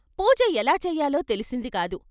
పూజ ఎలా చేయాలో తెలిసిందికాదు.